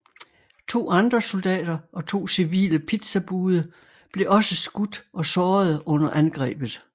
To andre soldater og to civile pizzabude blev også skudt og sårede under angrebet